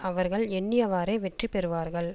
அவர்கள் எண்ணியவாறே வெற்றி பெறுவார்கள்